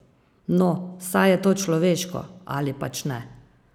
No, saj je to človeško, ali pač ne?